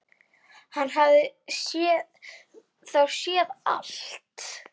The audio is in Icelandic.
Hann hafði þá séð allt!